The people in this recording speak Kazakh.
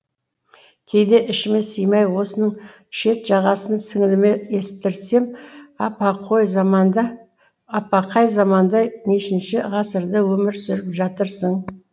кейде ішіме сыймай осының шет жағасын сіңіліме естіртсем апа қай заманда нешінші ғасырда өмір сүріп жатырсың